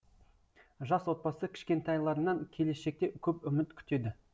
жас отбасы кішкентайларынан келешекте көп үміт күтеді